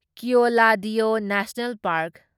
Keoladeo national park